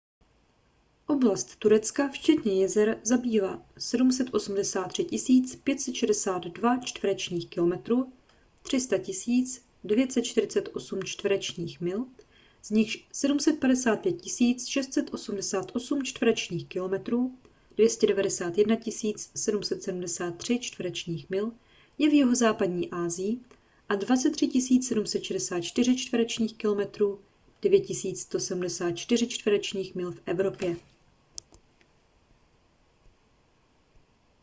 oblast turecka včetně jezer zabírá 783 562 čtverečních kilometrů 300 948 čtverečních mil z nichž 755 688 čtverečních kilometrů 291 773 čtverečních mil je v jihozápadní asii a 23 764 čtverečních kilometrů 9 174 čtverečních mil v evropě